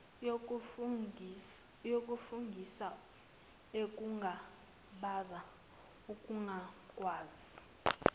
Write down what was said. wokufungisa ekungabaza ukungakwazi